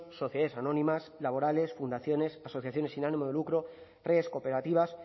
sociedades anónimas laborales fundaciones asociaciones sin ánimo de lucro redes cooperativas